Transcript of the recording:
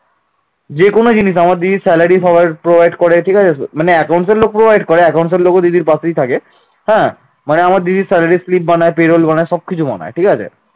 যে কোন জিনিস আমার দিদি salary সবার provide করে ঠিক আছে মানে accounts লোক provide করে accounts এর লোক দিদির পাশেই থাকে হ্যাঁ মানে আমার দিদির salary slip বানায় pay roll বানায় সবকিছু বানায় ঠিক আছে